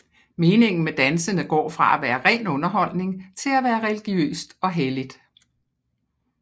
Meningen med dansene går fra at være ren underholdning til at være religiøst og helligt